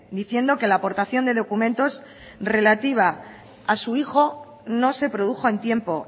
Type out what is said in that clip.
diciendo que la aportación de documentos relativa a su hijo no se produjo en tiempo